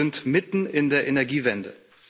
Wir sind mitten in der Energiewende.